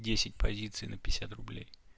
десять позиций на пятьдесят рублей